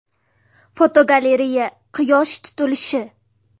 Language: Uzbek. Fotogalereya: Quyosh tutilishi.